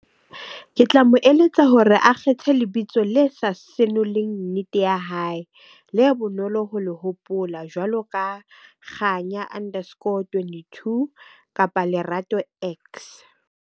Ke tla mo eletsa hore a kgethe lebitso le sa senoleng nnete ya hae le bonolo ho le hopola jwalo ka Kganya underscore twenty two kapa Lerato .